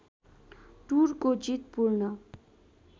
टुरको जित पूर्ण